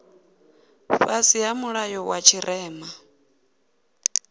fhasi ha mulayo wa tshirema